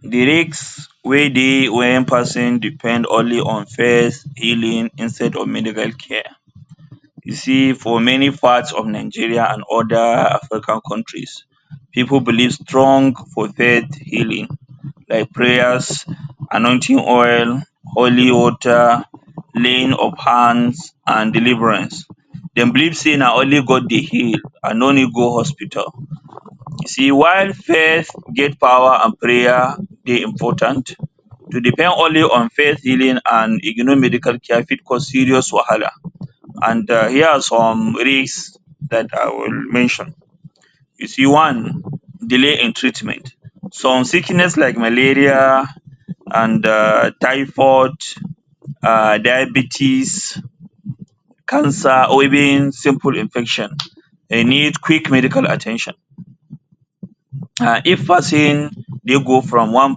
De risk wey dey when person depend only on faith healing instead of medical care. You see, for many part of Nigeria and other Africa countries, pipu believe strong for faith healing like prayers, anointing oil, holy water, laying of hands and deliverance. Dem believe say na only God dey heal and no need go hospital, see while faith get power and prayer dey important, to depend only on faith healing and ignore medical care fit cause serious wahala and here are some risk um that I will mention you see one, delay in treatment some sickness like malaria and um typhoid,[um] diabetics, cancer or even simple infection dey need quick medical at ten tion and if person dey go from one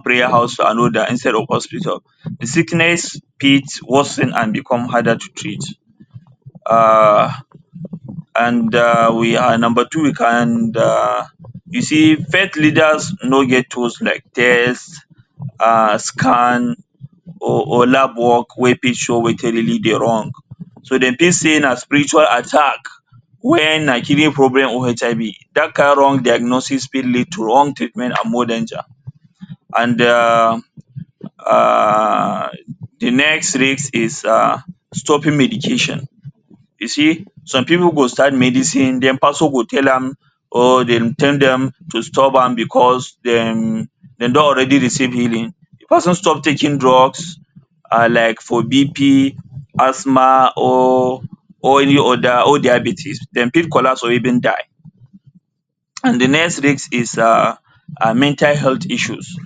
prayer house to another instead of hospital the sickness fit worsen and become harder to treat um and um we are number two, we can and um you see faith leaders nor get tools like test um scan or, or lab work wey fit show wetin really dey wrong, dem fit say na spiritual attack when na kidney problem or HIV that kind wrong diagnosis fit lead to wrong treatment and more danger and um de next risk is um stopping medication you see, some pipu go start medicine then pastor go tell am or tell dem to stop am because dem dem don already receive healing. De pesin stop taking drugs um like for BP, Asthma or any other or even diabetics dem fit collapse or even die. And dey next risk is um mental health issues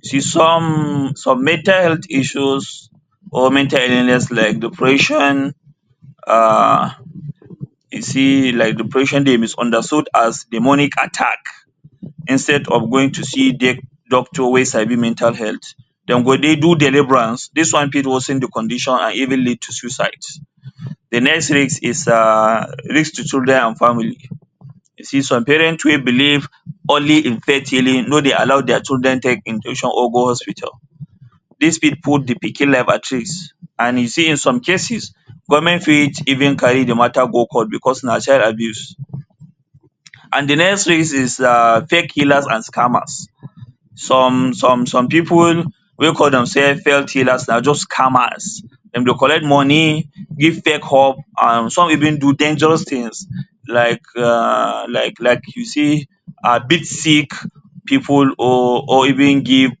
see some, some mental health issues or mental illness like depression um you see like depression dey misunderstood as demonic attack instead to see doc, doctor wey sabi mental health dem go dey do deliverance dis one fit worsen the condition and even lead to suicide. De next risk is um is risk to children and family you see some parent wey believe only in faith healing nor dey allow their children take injection or go hospital, dis fit put de pikin life at risk and you see in some cases government fit even carry the matter go court because na child abuse and the next risk is um fake healers and scammers some, some, some people wey call themselves faith healers na just scammers, dem go collect money give fake hope some even do dangerous things like um like you see beat sick pipu or even give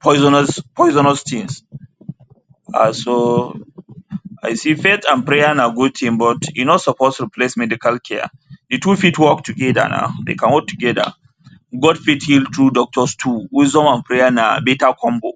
poisonous, poisonous things and so see faith and prayers na good thing, e nor suppose replace medical care the two fit work together now, dey can work together, God fit heal through doctor too wisdom and prayer na better combo.